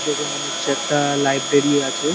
দেখে মনে হচ্ছে একটা লাইব্রেরি আছে ।